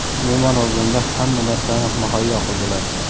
umuman olganda hamma narsani muhayyo qildilar.